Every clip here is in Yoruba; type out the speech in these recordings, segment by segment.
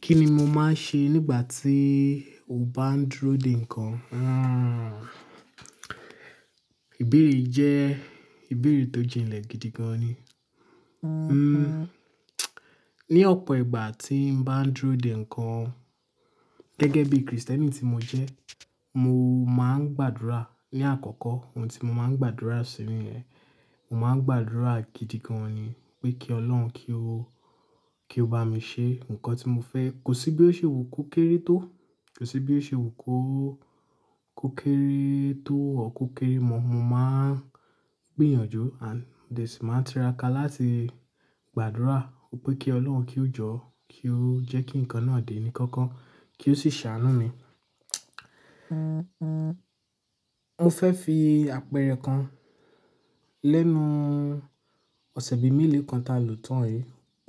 Kí ni mo máa ń ṣe nígbà tí mo bá ń dúró de nǹkan? Hmm. Ìbéèrè jẹ́ ìbéèrè tó jinnlẹ̀ gidi gan ni. Hmm. Ní ọ̀pọ̀ ìgbà tí mo bá ń dúró de nǹkan, gẹ́gẹ́ bí Kristẹni tí mo jẹ́, mo máa ń gbàdúrà ní àkọ́kọ́. Ohun tí mo máa ń gbàdúrà sí ni ẹ, mo máa ń gbàdúrà gidi gan ni pé kí Ọlọ́run kí ó, kí ó bá mi ṣe nǹkan tí mo fẹ́. Kò sí bí ó ṣe wù kó kéré tó, kò sí bí ó ṣe wù kó kó tó ọ kó kéré mọ. Mo máa ń gbìyànjú and then sì máa ń tiraka láti gbàdúrà pé kí Ọlọ́run kí ó jọ́, kí ó jẹ́ kí nǹkan náà dé ní kọ́kọ́, kí ó sì ṣàánú mi. Mo fẹ́ fi àpẹẹrẹ kan. Lẹ́nu ọ̀sẹ̀ bí mẹ́ẹ̀lẹ́ kan ta lò tán yìí,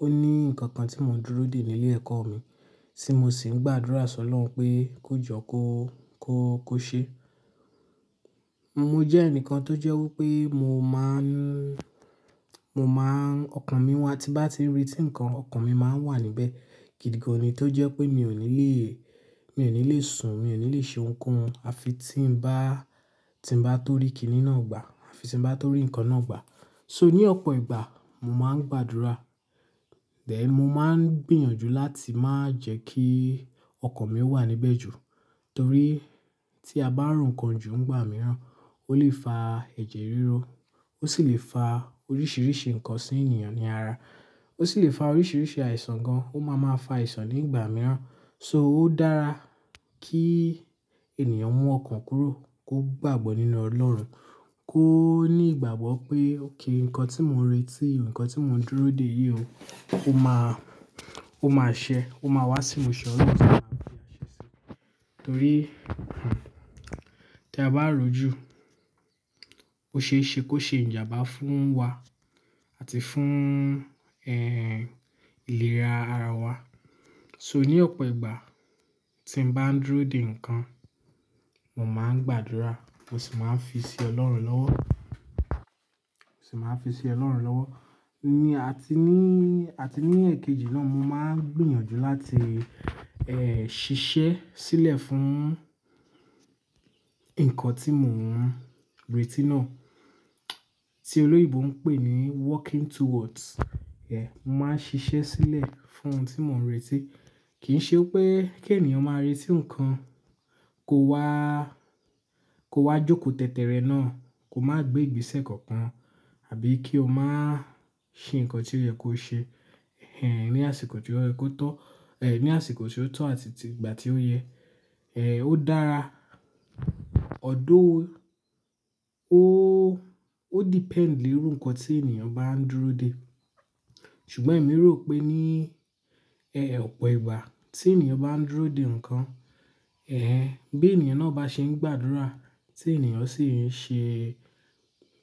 ó ní nǹkan kan tí mò ń dúró dè nílé ẹ̀kọ́ mi tí mo sì ń gbàdúrà sọ Ọlọ́run pé kó jọ kó, kó, kó ṣe. Mo jẹ́ ẹnìkan tó jẹ́ wí pé mo máa ń, mo máa ń, ọkàn mi wá tí bá ti rí tí nǹkan, ọkàn mi máa ń wà níbẹ̀ gidi gan ni. Tó jẹ́ pé mi ò ní le, mi ò ní le sùn, mi ò ní le ṣe ohunkóhun àfi tí ń bá, tí ń bá tó rí kiní náà gbà àfi tí ń bá tó rí nǹkan náà gbà. So ní ọ̀pọ̀ ìgbà, mo máa ń gbàdúrà. Then mo máa ń gbìyànjú láti máa jẹ́ kí ọkàn mi wà níbẹ̀ jù. Torí tí a bá rùn nǹkan jù nígbà mìíràn, ó lè fa ẹ̀jẹ̀ ríro, ó sì lè fa oríṣìíríṣìí nǹkan sí ènìyàn ní ara. Ó sì lè fa oríṣìíríṣìí àìsàn gan, ó máa máa fa àìsàn nígbà mìíràn. So ó dára kí ènìyàn mú ọkàn kúrò, kó gbàgbọ́ nínú Ọlọ́run, kó ní ìgbàgbọ́ pé, "Okay, nǹkan tí mò ń retí, nǹkan tí mò ń dúró dè yìí o, ó máa, ó máa ṣẹ, ó máa wá sí mi. Ṣọ́rí, Ọlọ́run máa fi aṣẹ ṣe." Torí, hmm, tí a bá rò jù, ó ṣe é ṣe kó ṣe ìjàmbá fún wa àti fún, eh, ìlera ará wa. So ní ọ̀pọ̀ ìgbà tí mo bá ń dúró de nǹkan, mo máa ń gbàdúrà, mo sì máa ń fi sí Ọlọ́run lọ́wọ́, mo sì máa ń fi sí Ọlọ́run lọ́wọ́. Ni àti ní, àti ní èkejì náà, mo máa ń gbìyànjú láti, eh, ṣiṣẹ́ sílẹ̀ fún nǹkan tí mò ń retí náà, tí olóyèbo ń pè ní working towards. Eh, mo máa ń ṣiṣẹ́ sílẹ̀ fún ohun tí mò ń retí. Kì í ṣe pé kí ènìyàn máa retí nǹkan, kó wá, kó wá jókòó tètè rẹ̀ náà, kó má gbé ìgbésẹ̀ kankan àbí kí ó má ṣe nǹkan tí ó yẹ kó ṣe, eh, ní àsìkò tí ó yẹ kó tọ́, eh, ní àsìkò tí ó tọ́ àti ìgbà tí ó yẹ. Eh, ó dára. Although ó, ó depend lórí nǹkan tí ènìyàn bá ń dúró de. Ṣùgbọ́n èmi rò pé ní, eh, ọ̀pọ̀ ìgbà tí ènìyàn bá ń dúró de nǹkan, eh, bí ènìyàn náà bá ṣe ń gbàdúrà, tí ènìyàn sì ń ṣe,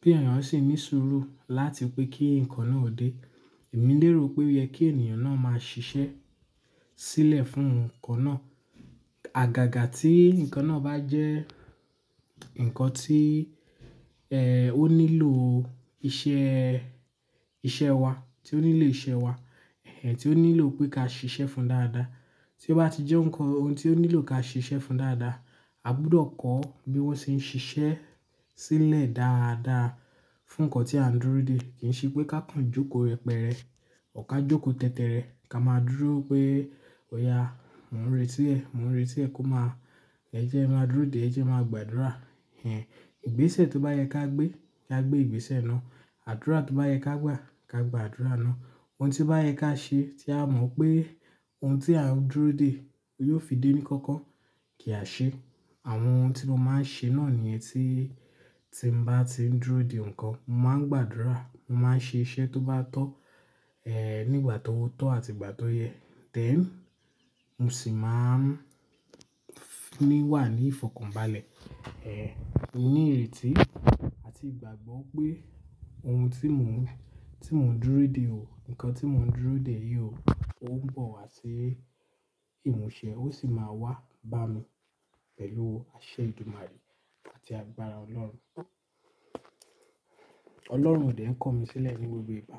tí ènìyàn sì ń ní sùúrù láti pé kí nǹkan náà dé, èmi lérò pé ó yẹ kí ènìyàn náà máa ṣiṣẹ́ sílẹ̀ fún nǹkan náà. Àgàgà tí nǹkan náà bá jẹ́ nǹkan tí, eh, ó nílò iṣẹ́, iṣẹ́ wa, tí ó nílò iṣẹ́ wa, eh, tí ó nílò pé ká ṣiṣẹ́ fún dáadáa. Tí ó bá ti jẹ́ nǹkan ohun tí ó nílò ká ṣiṣẹ́ fún dáadáa, a gbọdọ̀ kọ́ bí wọ́n ṣe ń ṣiṣẹ́ sílẹ̀ dáadáa fún nǹkan tí a ń dúró de. Kì í ṣe pé ká kanjú kó rẹ pẹ̀rẹ, ká jókòó tètè rẹ̀, ká má dúró pé, "Oya, mò ń retí ẹ, mò ń retí ẹ kó má-- ẹ jẹ́ ẹ máa dúró dè ẹ́, jẹ́ ẹ máa gbàdúrà." Eh, ìgbésẹ̀ tó bá yẹ ká gbé, ká gbé ìgbésẹ̀ náà. Àdúrà tó bá yẹ ká gbà, ká gbà àdúrà náà. Ohun tí bá yẹ ká ṣe tí a mọ̀ pé ohun tí à ń dúró de yóò fi dé ní kọ́kọ́ kì í ṣe àṣẹ. Àwọn ohun tí mo máa ń ṣe náà ní ẹ tí, tí ń bá ti ń dúró de nǹkan, mo máa ń gbàdúrà, mo máa ń ṣe iṣẹ́ tó bá tọ́, eh, nígbà tó ó tọ́ àti ìgbà tó yẹ. Then mo sì máa ń ní wà ní ìfọ̀kànbalẹ̀, eh, ní ìrètí àti ìgbàgbọ́ pé ohun tí mò ń, tí mò ń dúró de ò, nǹkan tí mò ń dúró dè yìí o, ó ń bọ̀ wá sí ìmúṣẹ, ó sì máa wá bá mi pẹ̀lú àṣẹ ìdúmarè àti agbára Ọlọ́run. Ọlọ́run òde ń kọ́ mi sílẹ̀ ní gbogbo ìgbà.